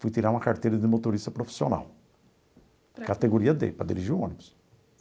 Fui tirar uma carteira de motorista profissional, categoria dê, para dirigir um ônibus.